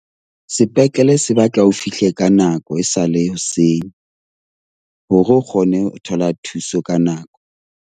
Sepetlele se batla o fihle ka nako, e sale hoseng hore o kgone ho thola thuso ka nako.